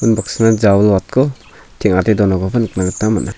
unbaksana jawilwatko teng·ate donakoba nikna gita man·a.